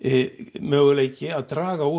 möguleiki að draga úr